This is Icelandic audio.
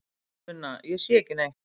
Sunna: Ég sé ekki neitt.